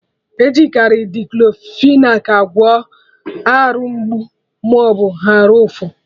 Ejikari Diclofenac agwọ Arụ mgbu maọbụ arụ ụfụ